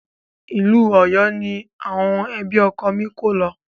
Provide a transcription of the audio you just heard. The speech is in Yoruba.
Ìlú Ọ̀yọ́ ní àwọn ẹbí ọkọ mi kó lo.